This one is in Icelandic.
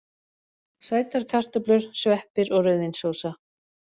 Sætar kartöflur, sveppir og rauðvínssósa.